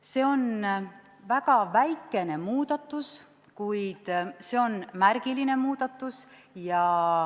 See on väga väikene muudatus, kuid see on märgiline muudatus.